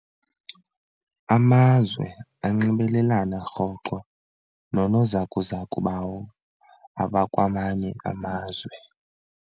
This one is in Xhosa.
Amazwe anxibelelana rhoqo noonozakuzaku bawo abakwamanye amazwe.